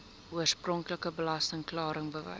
oorspronklike belasting klaringsbewys